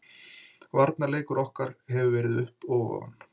Varnarleikur okkar hefur verið upp og ofan.